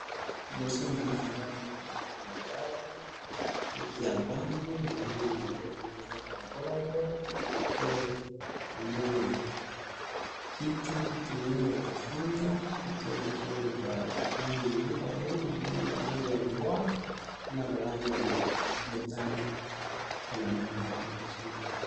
Liboso na nga nazo mona mwana mobali neti avandi namoni maboko na ye eza na mabolongo pe namoni kiti, kiti monene ya kofanda, kiti yango eza na ba langi mibale eza na ba langi ya mbwa pe na balangi ya motane nde namoni yango liboso na nga